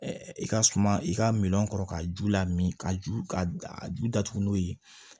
i ka suma i ka miliyɔn kɔrɔ ka ju lamini ka ju ka ju datugu n'o ye